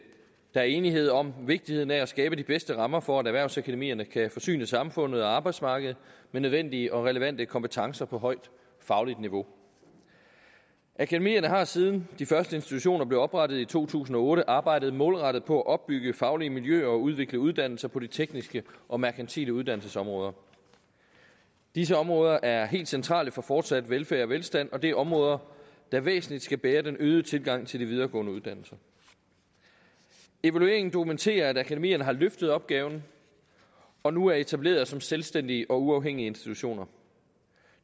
er enighed om vigtigheden af at skabe de bedste rammer for at erhvervsakademierne kan forsyne samfundet og arbejdsmarkedet med nødvendige og relevante kompetencer på højt fagligt niveau akademierne har siden de første institutioner blev oprettet i to tusind og otte arbejdet målrettet på at opbygge faglige miljøer og udvikle uddannelser på de tekniske og merkantile uddannelsesområder disse områder er helt centrale for fortsat velfærd og velstand og det er områder der væsentligt skal bære den øgede tilgang til de videregående uddannelser evalueringen dokumenterer at akademierne har løftet opgaven og nu er etableret som selvstændige og uafhængige institutioner